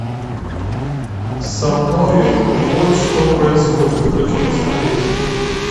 со мною вот что происходит хочу посмотреть